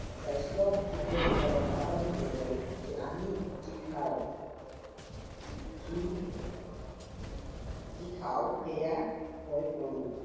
স্বাস্থ্য় বিশেষজ্ঞসকলে সাধাৰণতে কয় যে আমি যি খাও সি যি খাও সেয়া হৈ পৰো